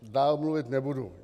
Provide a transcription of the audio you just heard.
Dále mluvit nebudu.